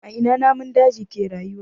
A ina namun daji ke rayuwa?